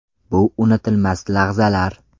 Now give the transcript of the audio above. Bu unutilmas lahzalar.